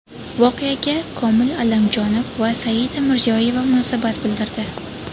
Voqeaga Komil Allamjonov va Saida Mirziyoyeva munosabat bildirdi.